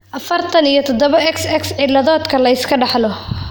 afartan iyo toodoba XXX ciladod-ka la iska dhaxlo?